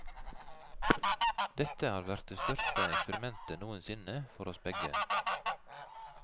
Dette har vært det største eksperimentet noen sinne for oss begge.